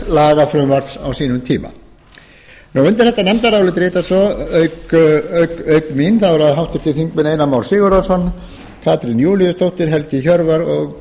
lagafrumvarps á sínum tíma undir þetta nefndarálit rita svo auk mín þá eru það háttvirtur þingmaður einar már sigurðarson katrín júlíusdóttir helgi hjörvar og